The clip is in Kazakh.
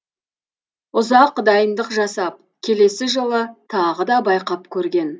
ұзақ дайындық жасап келесі жылы тағы да байқап көрген